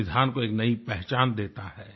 संविधान को एक नई पहचान देता है